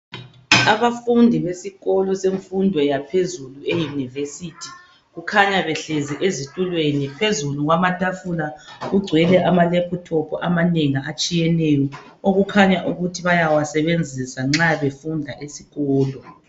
Abafundi besikolo semfundo yaphezulu euniversity, kukhanya behlezi ezitulweni phezulu kwamatafula kugcwele ama laptop amanengi atshiyeneyo, okukhanya ukuthi bayawasebenzisa nxa befunda esikolo.